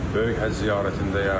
Böyük Həcc ziyarətindəyəm.